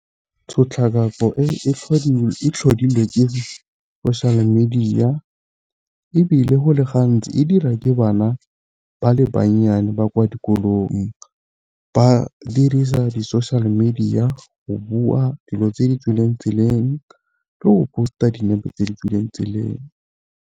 Tshotlakako e tlhodilwe ke social media, ebile go le gantsi e dirwa ke bana ba le bannyane ba kwa dikolong. Ba dirisa di-social media go bua dilo tse di tswileng tseleng, le go post-a dinepe tse di tswileng tseleng.